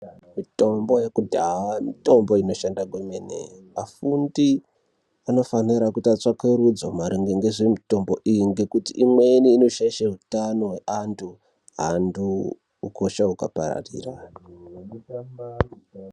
Mitombo yekudaa mitombo inoshanda kwemene afundi anofanire kuita tsvakurudzo maringe ngezvemitombo iyi ngekuti imweni inoshaishe utano hweanthu anthu ukosha hukapararira.